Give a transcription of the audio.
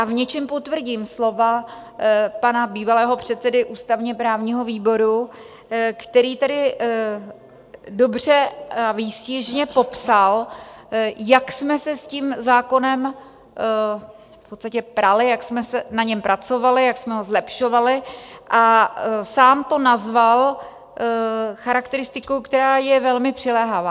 A v něčem potvrdím slova pana bývalého předsedy ústavně-právního výboru, který tady dobře a výstižně popsal, jak jsme se s tím zákonem v podstatě prali, jak jsme na něm pracovali, jak jsme ho zlepšovali, a sám to nazval charakteristikou, která je velmi přiléhavá.